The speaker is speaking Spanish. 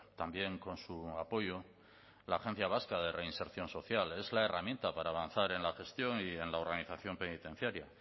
también con su apoyo la agencia vasca de reinserción social es la herramienta para avanzar en la gestión y en la organización penitenciaria